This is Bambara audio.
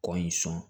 Kɔ in sɔn